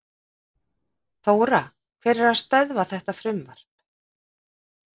Þóra: Hver er að stöðva þetta frumvarp?